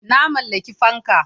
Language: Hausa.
Na mallaki fanka.